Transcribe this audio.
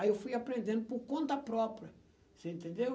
Aí eu fui aprendendo por conta própria, você entendeu?